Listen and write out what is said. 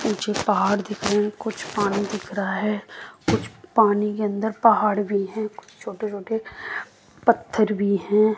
ऊंचे पहाड़ दिख रहे कुछ पानी दिख रहा है कुछ पानी के अंदर पहाड़ भी है छोटे छोटे पत्थर भी हैं।